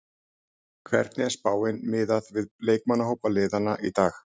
Hvernig er spáin miðað við leikmannahópa liðanna í dag?